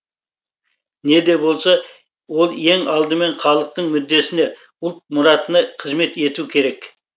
не де болса ол ең алдымен халықтың мүддесіне ұлт мұратына қызмет ету керек